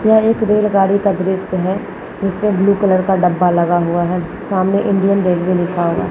यह एक रेलगाड़ी का द्रृश्य है उसमे ब्लू कलर का डब्बा लगा हुआ है सामने इंडियन रेलवे लिखा हुआ है।